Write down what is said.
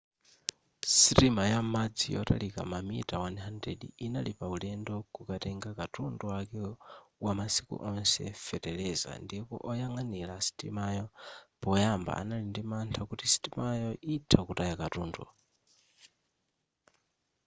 sitima ya m'madzi yotalika mamita 100 inali pa ulendo kukatenga katundu wake wamasiku onse feteleza ndipo oyang'anira sitimayo poyamba anali ndi mantha kuti sitimayo itha kutaya katundu